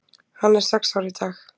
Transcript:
Hann er sex ára í dag.